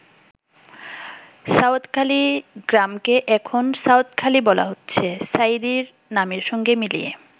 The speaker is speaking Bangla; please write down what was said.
সাউদখালি গ্রামকে এখন সাঈদখালি বলা হচ্ছে, সাঈদীর নামের সঙ্গে মিলিয়ে।